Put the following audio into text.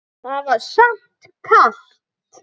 Það var samt kalt